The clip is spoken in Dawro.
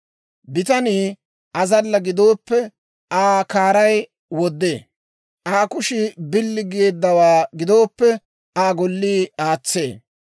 Bitanii azalla gidooppe, Aa kaaray woddee; Aa kushii oosuwaa billowaa gidooppe, Aa Gollii aatsee.